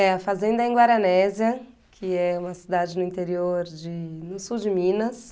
É, a fazenda é em Guaranésia, que é uma cidade no interior de, no sul de Minas.